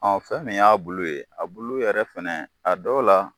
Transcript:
Ɔ fɛn min y'a bulu ye a bulu yɛrɛ fɛnɛ a dɔw la